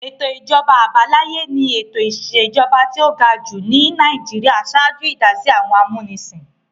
Ètò ìjọba àbáláyé ni ètò ìṣèjọba tí ó ga jù ní Nàìjíríà ṣáájú ìdásí àwọn amúnisìn.